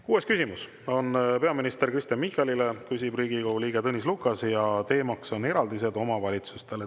Kuues küsimus on peaminister Kristen Michalile, küsib Riigikogu liige Tõnis Lukas ja teema on eraldised omavalitsustele.